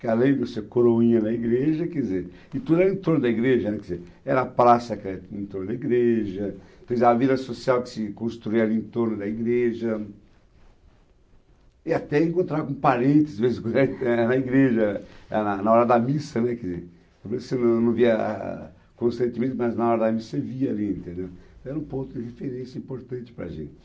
que além de ser coroinha da igreja, quer dizer, e tudo era em torno da igreja, né, quer dizer, era a praça era em torno da igreja, quer dizer, a vida social que se construía ali em torno da igreja, e até encontrava um parentes de vez em quando era era na igreja, na na na hora da missa, né, quer dizer, você não não via constantemente, mas na hora da missa você via ali, entendeu, era um ponto de referência importante para a gente.